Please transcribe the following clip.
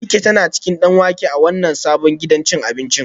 Abike tana cin danwake a wannan sabon gidan cin abinci